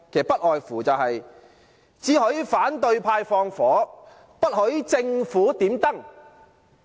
不外乎是"只許反對派放火，不許政府點燈"。